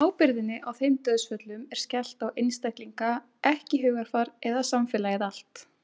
Ábyrgðinni á þeim dauðsföllum er skellt á einstaklinga ekki hugarfar eða samfélagið allt.